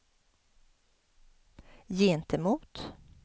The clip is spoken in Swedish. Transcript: gentemot